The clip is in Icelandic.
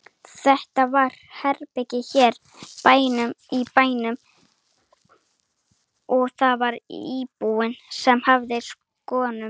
Þetta var í herbergi hér í bænum og það var íbúinn sem hafði skoðunina.